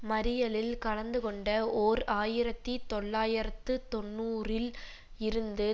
மறியலில் கலந்து கொண்ட ஓர் ஆயிரத்தி தொள்ளாயிரத்து தொன்னூறில் இருந்து